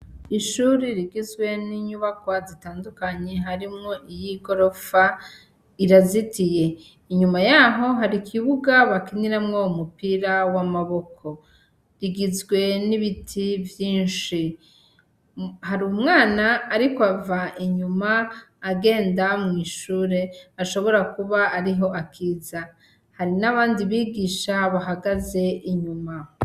Ishure rigizwe n'inyubakwa zitandukanye harimwo iyigorofa rirazitiye inyuma yaho hari ikibuga bakiniramwo umupira wamaboko igizwe n'ibiti vyinshi, hari umwana ariko ava inyuma agenda mwishure ashobora kuba ariho akiza hari n'abandi bigisha bahagaze inyuma.